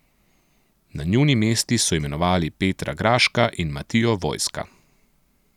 Na njuni mesti so imenovali Petra Graška in Matijo Vojska.